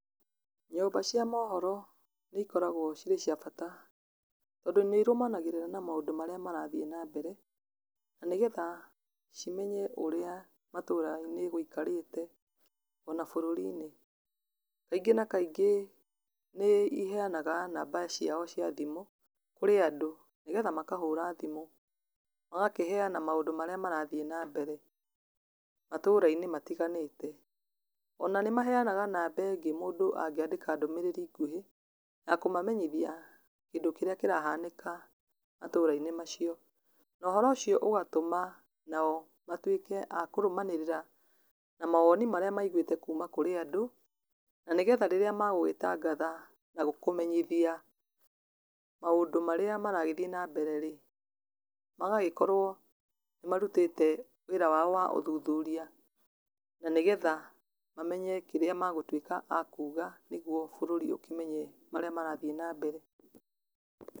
Nyũmba cia mohoro, nĩ ikoragwo cirĩ cia bata, tondũ nĩ irũmanagĩrĩra na maũndũ marĩa marathiĩ na mbere, na nĩgetha cimenye ũrĩa matũra-inĩ gũikarĩte, ona bũrũri-inĩ, kaingĩ na kaingĩ nĩ iheyanaga namba ciao cia thimũ, kũrĩ andũ nĩ getha makahũra thimũ, magakĩheyana maũndũ marĩa marathiĩ na mbere, matũra-inĩ matiganĩte, ona nĩ maheyanaga namba ĩngĩ mũndũ angĩandĩka ndũmĩrĩri nguhĩ, ya kũmamenyithia kĩndũ kĩrĩa kĩrahanĩka matũra-inĩ macio, na ũhoro ũcio ũgatũma nao matuĩke a kũrũmanĩrĩra na mawoni marĩa maigwĩte kuuma kũrĩ andũ, na nĩgetha rĩrĩa megũgĩtangathana kũmenyithia maũndũ marĩa maragĩthiĩ na mbere rĩ, magagĩkorwo nĩ marutĩte wĩra wao wa ũthuthuria, na nĩ getha, mamenye kĩrĩa megũtuĩka akuga, nĩguo bũrũri ũkĩmenye marĩa marathiĩ na mbere.